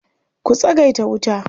Ku tsagaita wuta.